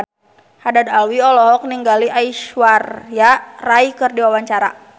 Haddad Alwi olohok ningali Aishwarya Rai keur diwawancara